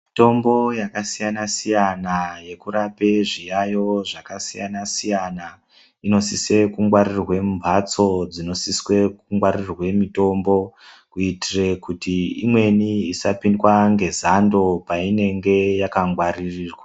Mitombo yakasiyana siyana inoraoe zvirwere zvakasiyana siyana inosise kungwarirwe mumbatso dzinosise kungwarirwe mitombo kuitire kuti imweni isapindwe nezando painenge yaka gwaririrwa.